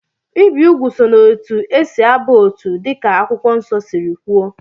Ibi úgwù so na etu esi aba otu dịka Akwụkwọ Nsọ siri kwuo